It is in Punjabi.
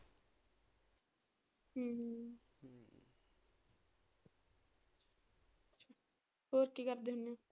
ਹੋਰ ਕੀ ਕਰਦੇ?